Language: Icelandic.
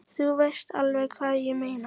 Þú veist alveg hvað ég meina!